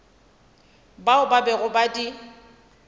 bao ba bego ba di